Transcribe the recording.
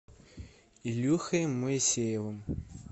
илюхой моисеевым